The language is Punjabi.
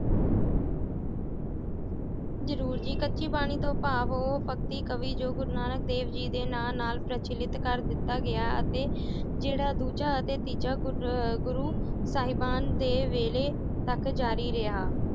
ਜਰੂਰ ਜੀ ਕੱਚੀ ਬਾਣੀ ਤੋਂ ਭਾਵ ਉਹ ਭਗਤੀ ਕਵੀ ਜੋ ਗੁਰੂ ਨਾਨਕ ਜੀ ਦੇ ਨਾਂ ਨਾਲ ਪ੍ਰਚਲਿਤ ਕਰ ਦਿੱਤਾ ਗਿਆ ਅਤੇ ਜਿਹੜਾ ਦੂਜਾ ਅਤੇ ਤੀਜਾ ਗੁਰ~ ਗੁਰੂ ਸਾਹਿਬਾਨ ਦੇ ਵੇਲੇ ਤਕ ਜਾਰੀ ਰਿਹਾ।